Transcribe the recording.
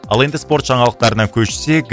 ал енді спорт жаңалықтарына көшсек